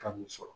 Ka n'i sɔrɔ